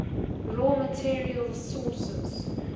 raw materials sources